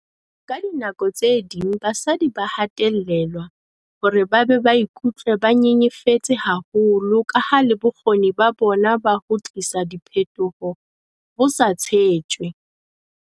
"Ka dinako tse ding basadi ba hatellelwa hore ba be ba ikutswe ba nyenyefetse haholo kaha le bokgoni ba bona ba ho tlisa diphetoho bo sa tshetjwe."